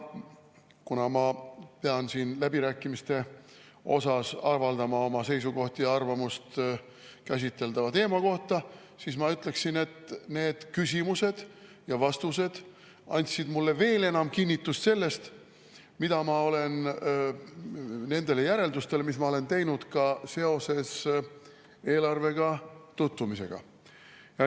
Kuna ma pean siin läbirääkimiste osas avaldama oma seisukohta ja arvamust käsiteldava teema kohta, siis ma ütleksin, et need küsimused ja vastused andsid mulle veel enam kinnitust nendele järeldustele, mis ma olen teinud eelarvega tutvumisel.